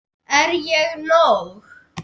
Er ég nóg!